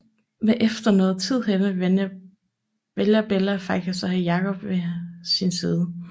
Men efter noget tid henne vælger Bella faktisk at have Jacob ved sin side